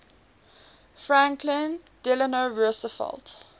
franklin delano roosevelt